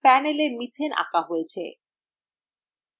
panelএ methane আঁকা হয়েছে